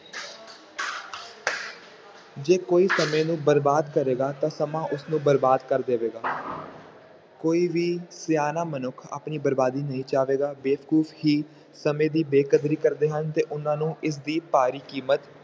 ਜੇ ਕੋਈ ਸਮੇਂ ਨੂੰ ਬਰਬਾਦ ਕਰੇਗਾ ਤਾਂ ਸਮਾਂ ਉਸਨੂੰ ਬਰਬਾਦ ਕਰ ਦੇਵੇਗਾ ਕੋਈ ਵੀ ਸਿਆਣਾ ਮਨੁੱਖ ਆਪਣੀ ਬਰਬਾਦੀ ਨਹੀਂ ਚਾਹੇਗਾ, ਬੇਵਕੂਫ਼ ਹੀ ਸਮੇਂ ਦੀ ਬੇਕਦਰੀ ਕਰਦੇ ਹਨ, ਤੇ ਉਹਨਾਂ ਨੂੰ ਇਸਦੀ ਭਾਰੀ ਕੀਮਤ